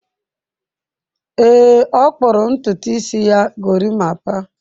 Ee, ọ kpụrụ ntutu isi ya gorimapa.